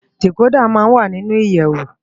Dikódà má n wá ninú iyèwó